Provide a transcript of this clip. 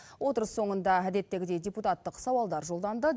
отырыс соңында әдеттегідей депутаттық сауалдар жолданды